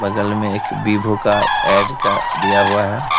बगल में एक विवो का एड का दिया हुआ है।